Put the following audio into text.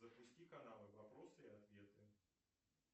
запусти канал вопросы и ответы